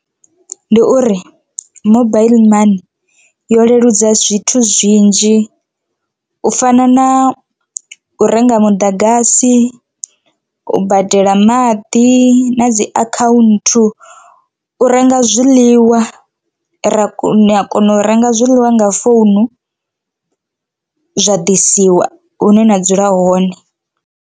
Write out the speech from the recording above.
Ndi uri mobaiḽi money yo leludza zwithu zwinzhi u fana na u renga muḓagasi, u badela maḓi, na dzi akhaunthu u renga zwiḽiwa ra kona u a kona u renga zwiḽiwa nga founu zwa ḓisiwa hune na dzula hone.